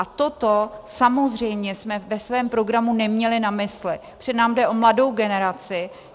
A toto samozřejmě jsme ve svém programu neměli na mysli, protože nám jde o mladou generaci.